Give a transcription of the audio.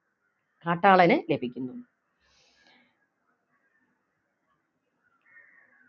കാട്ടാളന് ലഭിക്കുന്നു